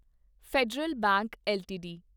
federal bank LTD